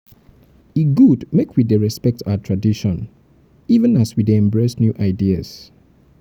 e good make we dey respect our tradition even as we dey embrace new ideas.